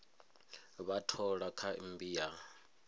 vha thola kha mmbi ya